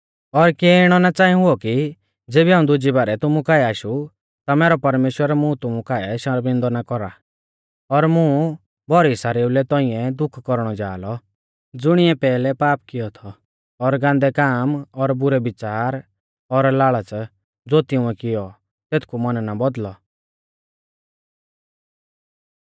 और किऐ इणौ ना च़ांई हुऔ कि ज़ेबी हाऊं दुजी बारै तुमु काऐ आशु ता मैरौ परमेश्‍वर मुं तुमु काऐ शर्मिंदौ ना कौरा और मुं भौरी सारेउ लै तौंइऐ दुख कौरणौ जा लौ ज़ुणिऐ पैहलै पाप कियौ थौ और गान्दै काम और बुरै बिच़ार और लाल़च़ ज़ो तिंउऐ कियौ तेथकु मन ना बौदल़ौ